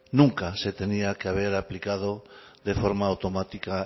nunca se tenía que haber aplicado de forma automática